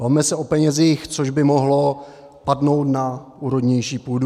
Bavme se o penězích, což by mohlo padnout na úrodnější půdu.